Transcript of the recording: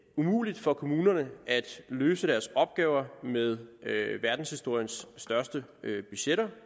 umuligt for kommunerne at løse deres opgaver med verdenshistoriens største budgetter